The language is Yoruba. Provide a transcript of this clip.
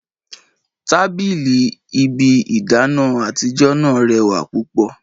Tabili ibi idana atijọ naa rewa pupo